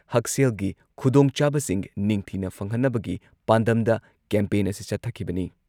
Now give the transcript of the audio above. ꯍꯛꯁꯦꯜꯒꯤ ꯈꯨꯗꯣꯡꯆꯥꯕꯁꯤꯡ ꯅꯤꯡꯊꯤꯅ ꯐꯪꯍꯟꯅꯕꯒꯤ ꯄꯥꯟꯗꯝꯗ ꯀꯦꯝꯄꯦꯟ ꯑꯁꯤ ꯆꯠꯊꯈꯤꯕꯅꯤ ꯫